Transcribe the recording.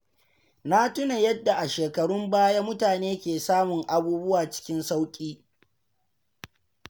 Na tuna yadda a shekarun baya mutane ke samun abubuwa cikin sauƙi.